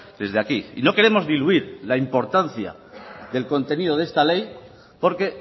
desde aquí y no queremos diluir la importancia del contenido de esta ley porque